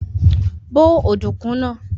Bó ọ̀dùnkún náà!